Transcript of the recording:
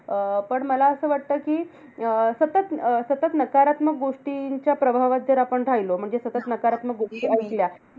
अं पण मला असं वाटतं, कि अं सतत अं सतत नकारात्मक गोष्टींच्या प्रभावात जर आपण राहिलो, म्हणजे सतत नकारात्मक गोष्टी ऐकल्या.